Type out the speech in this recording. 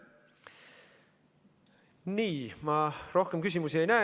Nii, ma rohkem küsimusi ei näe.